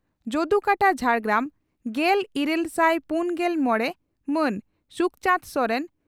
ᱡᱚᱫᱩᱠᱟᱴᱟ ᱡᱷᱟᱲᱜᱨᱟᱢ᱾ᱜᱮᱞ ᱤᱨᱟᱹᱞ ᱥᱟᱭ ᱯᱩᱱᱜᱮᱞ ᱢᱚᱲᱮ ᱹ ᱢᱟᱱ ᱥᱩᱠᱪᱟᱸᱫᱽ ᱥᱚᱨᱮᱱ